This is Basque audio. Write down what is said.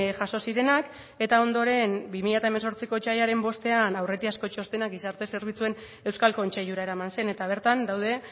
jaso zirenak eta ondoren bi mila hemezortziko otsailaren bostean aurretiazko txostenak gizarte zerbitzuen euskal kontseilura eraman zen eta bertan daude